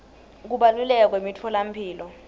kubaluleka kwemitfolamphilo